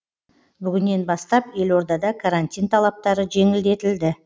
бүгінен бастап елордада карантин талаптары жеңілдетілді